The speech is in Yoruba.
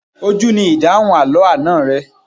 Ojú ni ìdáhùn àlọ́ àná rẹ.